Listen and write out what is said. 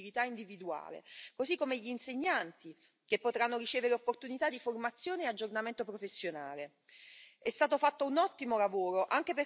Infatti, gli adulti potranno così partecipare alle azioni di mobilità individuale, così come gli insegnanti potranno ricevere opportunità di formazione e aggiornamento professionale.